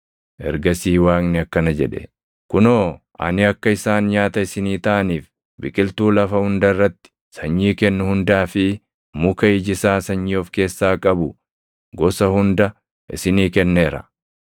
Ergasii Waaqni akkana jedhe; “Kunoo ani akka isaan nyaata isinii taʼaniif biqiltuu lafa hunda irratti sanyii kennu hundaa fi muka iji isaa sanyii of keessaa qabu gosa hunda isinii kenneera.